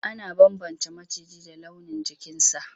Ana bambance maciji da launin jikinsa.